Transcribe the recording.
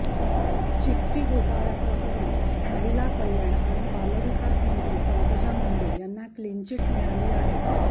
चिक्की घोटाळ्याप्रकरणी महिला कल्याण आणि बालविकास मंत्री पंकजा मुंडे यांना क्लिनचिट मिळाली आहे